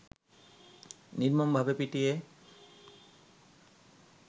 নির্মমভাবে পিটিয়ে